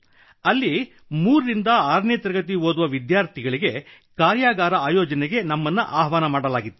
ಅಲ್ಲಿ 3 ರಿಂದ 6 ನೇ ತರಗತಿ ಓದುವ ವಿದ್ಯಾರ್ಥಿಗಳಿಗೆ ಕಾರ್ಯಾಗಾರ ಆಯೋಜನೆಗೆ ನಮ್ಮನ್ನು ಆಹ್ವಾನಿಸಲಾಗಿತ್ತು